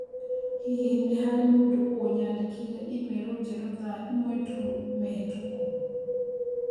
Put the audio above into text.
Hihi nĩ harĩ mũndũ ũ nyadĩkĩire i-mīrū njerũ thaa ĩmwe tu mĩhĩtũku?